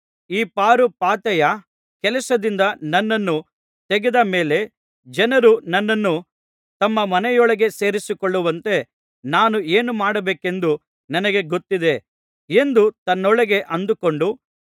ಈ ಪಾರುಪಾತ್ಯೆಯ ಕೆಲಸದಿಂದ ನನ್ನನ್ನು ತೆಗೆದ ಮೇಲೆ ಜನರು ನನ್ನನ್ನು ತಮ್ಮ ಮನೆಗಳೊಳಗೆ ಸೇರಿಸಿಕೊಳ್ಳುವಂತೆ ನಾನು ಏನು ಮಾಡಬೇಕೆಂದು ನನಗೆ ಗೊತ್ತಿದೆ ಎಂದು ತನ್ನೊಳಗೆ ಅಂದುಕೊಂಡು